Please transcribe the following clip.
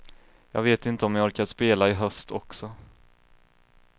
Jag vet inte om jag orkar spela i höst också.